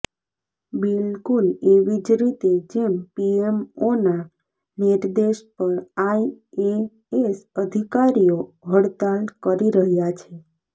બિલકુલ એવીજ રીતે જેમ પીએમઓના નિર્દેશ પર આઈએએસ અધિકારીઓ હડતાલ કરી રહ્યા છે